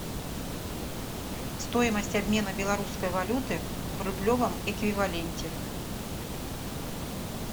стоимость обмена белорусской валюты в рублевом эквиваленте